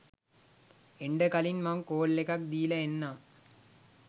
එන්ඩ කලින් මං කෝල් එකක් දීලා එන්නම්